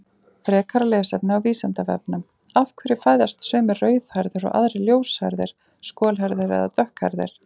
Frekara lesefni á Vísindavefnum: Af hverju fæðast sumir rauðhærðir og aðrir ljóshærðir, skolhærðir eða dökkhærðir?